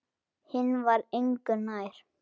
Hinn var engu nær.